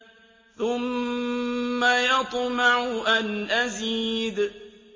ثُمَّ يَطْمَعُ أَنْ أَزِيدَ